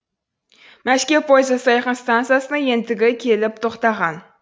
мәскеу пойызы сайқын стансасына ентігі келіп тоқтаған